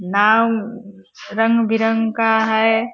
नाव रंग-बिरंग का है।